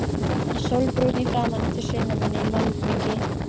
Sólbrúnn í framan eftir sumarvinnu í malbiki.